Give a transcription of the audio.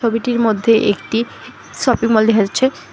ছবিটির মধ্যে একটি শপিং মল দেখা যাচ্ছে।